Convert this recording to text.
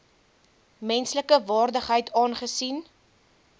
menslike waardigheid aangesien